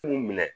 Funu minɛ